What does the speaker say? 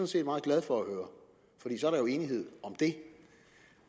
set meget glad for at høre fordi så er der jo enighed om det